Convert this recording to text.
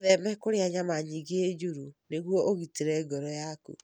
Wĩtheme kũrĩa nyama nyingĩ njũru nĩguo ũgitĩre ngoro yaku.